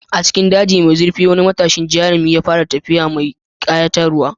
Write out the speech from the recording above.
A cikin dajin mai zurfi, wani matashin jarumi ya fara tafiya mai ƙayatarwa.